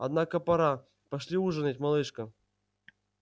однако пора пошли ужинать малышка